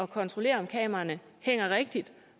kontrollere om kameraerne hænger rigtigt